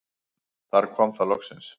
Þar kom það loksins.